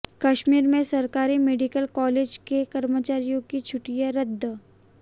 कश्मीर में सरकारी medical college के कर्मचारियों की छुट्टियां रद्द